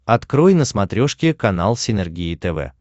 открой на смотрешке канал синергия тв